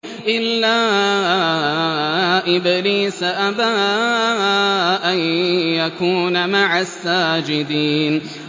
إِلَّا إِبْلِيسَ أَبَىٰ أَن يَكُونَ مَعَ السَّاجِدِينَ